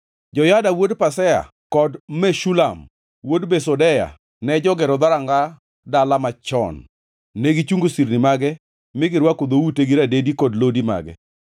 Joyada wuod Pasea kod Meshulam wuod Besodeya ne jogero Dhoranga Dala Machon. Negichungo sirni mage, mi girwako dhoute gi radedi kod lodi mage.